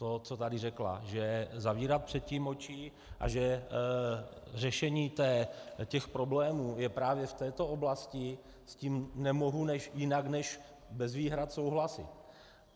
To, co tady řekla, že zavírat před tím oči a že řešení těch problémů je právě v této oblasti, s tím nemohu jinak než bez výhrad souhlasit.